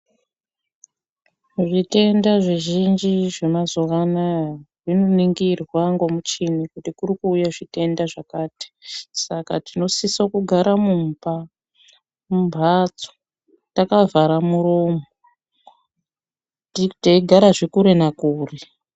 Zvitenda zvizhinji zvemazuva anaya zvinoningirwa ngomichini kuti kuri kuuya zvitenda zvakati, saka tinosisa kugara mumba, mumbatso takavhara muromo, teigarazve kure nakure.